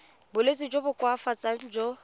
bolwetsi jo bo koafatsang jo